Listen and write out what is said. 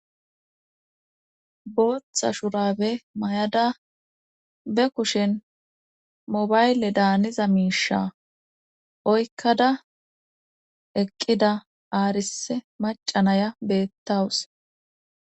booththa shurabe mayada be kushen mobayle daaniza miisha oykkada eqqida aarise macanaya beettawus